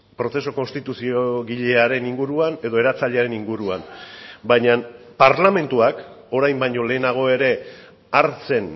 prozesu konstituziogilearen inguruan edo eratzailearen inguruan baina parlamentuak orain baino lehenago ere hartzen